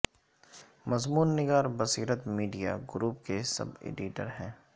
مضمون نگار بصیرت میڈیا گروپ کے سب ایڈیٹر ہیں